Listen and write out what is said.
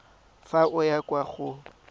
fa o ya kwa go